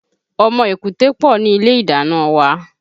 Ọmọ èkúté pọ̀ ni ilé ìdáná wa